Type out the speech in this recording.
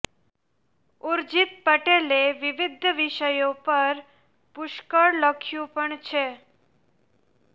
ઊર્જિત પટેલે વિવિધ વિષયો પર પુષ્કળ લખ્યું પણ છે